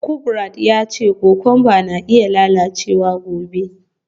Kubrat ya ce kokwamba na iya lalacewa gobe.